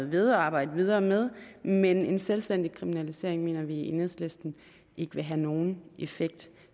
ved og arbejde videre med men en selvstændig kriminalisering mener vi i enhedslisten ikke vil have nogen effekt